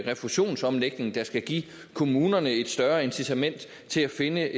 refusionsomlægning der skal give kommunerne et større incitament til at finde